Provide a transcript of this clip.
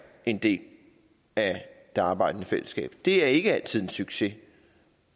en del af det arbejdende fællesskab det er ikke altid en succes